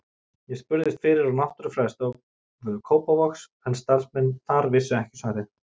Ég spurðist fyrir á Náttúrufræðistofu Kópavogs en starfsmenn þar vissu ekki svarið.